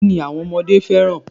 Kini àwọn ọmọdé fẹ́ràn?